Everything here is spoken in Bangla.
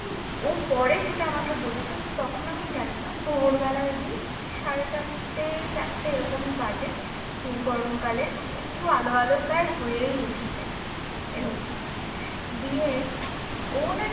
ও পরে সেটা আমাকে বলেছে তো তখন আমি জানি না ভোর বেলায় সাড়ে চারটে চারটে এরকম বাজে গরমকালে একটু আলো আলো প্রায় হয়েই এসেছে এরম দিয়ে ও